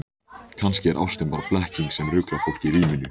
Kannski er ástin bara blekking sem ruglar fólk í ríminu.